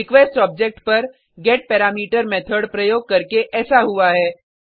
request object पर get parameter method प्रयोग करके ऐसा हुआ है